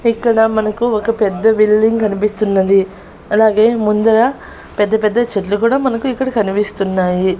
ఎక్కడ మనకు ఒక పెద్ద బిల్డింగ్ కనిపిస్తున్నది అలాగే ముందర పెద్ద పెద్ద చెట్లు కూడా మనకు ఇక్కడ కనిపిస్తున్నాయి.